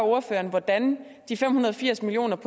ordføreren hvordan af de fem hundrede og firs million